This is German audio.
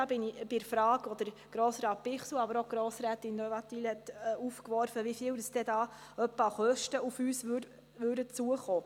Damit bin ich bei den Fragen von Grossrat Bichsel und von Grossrätin de Wattenwyl, nämlich, wie hoch die Kosten sind, welche damit auf uns zukämen.